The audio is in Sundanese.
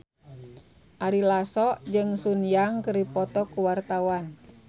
Ari Lasso jeung Sun Yang keur dipoto ku wartawan